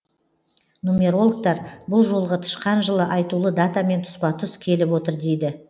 нумерологтар бұл жолғы тышқан жылы айтулы датамен тұспа тұс келіп отыр дейді